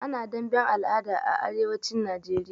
Ana damben al'ada da arewacin Najeriya.